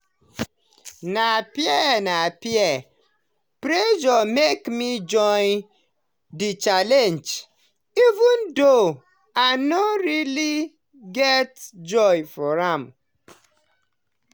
na peer na peer pressure make me join the challenge even though i no really get joy for am.